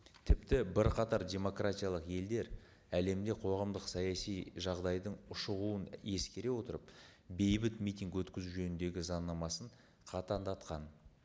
тіпті бірқатар демократиялық елдер әлемде қоғамдық саяси жағдайдың ушығуын ескере отырып бейбіт митинг өткізу жөніндегі заңнамасын қатаңдатқан